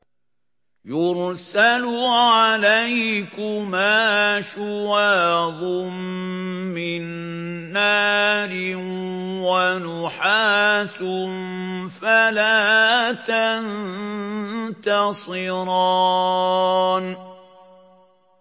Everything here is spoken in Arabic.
يُرْسَلُ عَلَيْكُمَا شُوَاظٌ مِّن نَّارٍ وَنُحَاسٌ فَلَا تَنتَصِرَانِ